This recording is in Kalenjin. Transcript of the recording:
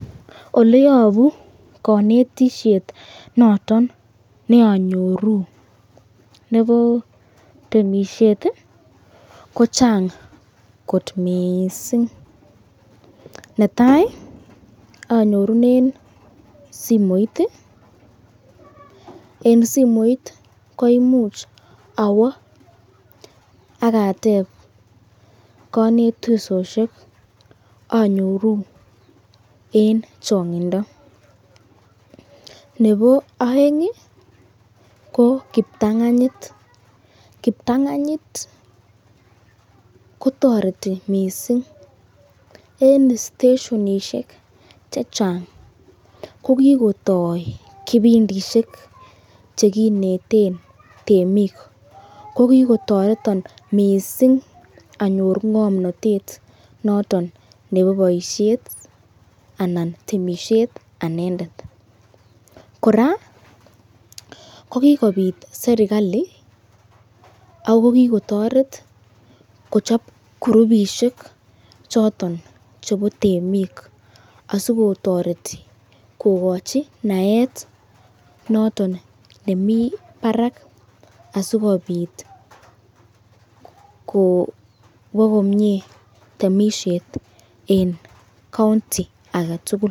Ole yobo konetishet noton ne anyoru nebo temisiet ko chang kot mising. Netai anyorunen simoit, en simoit koimuch awo ak ateb konetisosiek anyoru en chang'indo. Nebo oeng ko kiptang'anyit kotoreti mising en steshonisiek che chang ko kitoi kipindisiek che kineten temik ko kigotoreton mising anyor ng'omnatet noton nebo boisiet anan temisiet anendet. Kora ko kigobit serkalit ago kigotoret kochob kurubisiek choton chebo temik asikotoreti kogochi naet noton ne mi barak asikobit kowo komye temisiet en county age tugul